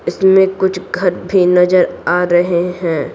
इसमें कुछ घर भी नजर आ रहे हैं।